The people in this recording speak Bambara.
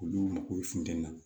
Olu mago bɛ funtɛni na